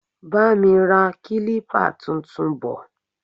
Bá mi ra kilipa tuntun bò.